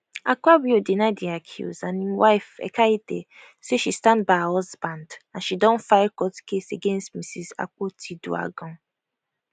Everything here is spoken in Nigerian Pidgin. akpabio deny di accuse and im wife ekaette say she stand by her husband and she don file court case against mrs akpotiuduaghan